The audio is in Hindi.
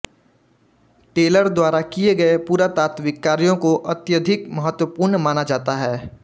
टेलर द्वारा किए गए पुरातात्विक कार्यों को अत्यधिक महत्वपूर्ण माना जाता है